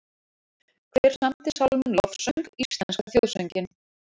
Hver samdi sálminn Lofsöng, íslenska þjóðsönginn?